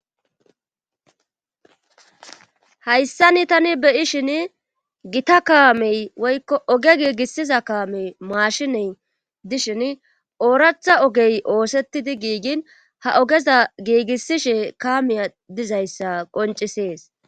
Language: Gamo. hayssani tani beyishin gita kaamey woykko oge giigissiza kaamey maashiney dishin ooratha ogey oosettidi giigin ha ogeza giigissishe kamiya dizayssa qoncisees